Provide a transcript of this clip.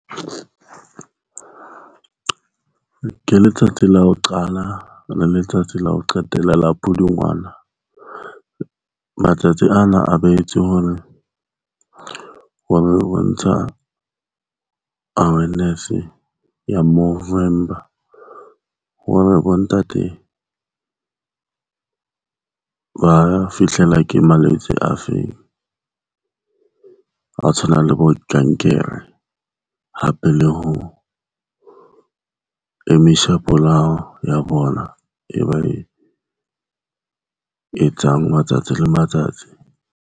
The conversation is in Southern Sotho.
Ke letsatsi la ho qala le letsatsi la ho qetela la Pudungwana. Matsatsi ana a behetswe hore ho lo bontsha awareness ya movember. Hoba ba bontate ba fihlelwa ke malwetse a feng a tshwanang le bokankere hape le ho ya bona e ba e etsang matsatsi le matsatsi.